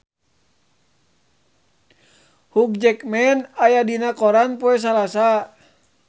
Hugh Jackman aya dina koran poe Salasa